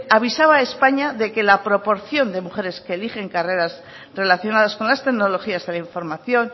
avisaba a españa de que la proporción de mujeres que eligen carreras relacionadas con las tecnologías de la información